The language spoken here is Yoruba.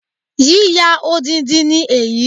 Yíyà odindi ni èyí